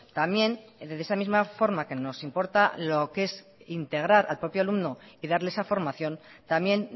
también desde esa misma forma que nos importa lo que es integrar al propio alumno y darle esa formación también